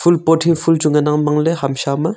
ful pot hi ful chu ngan ang bang ley ham sha ma.